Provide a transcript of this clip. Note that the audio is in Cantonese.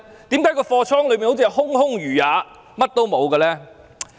為何倉庫內好像空空如也，甚麼也沒有？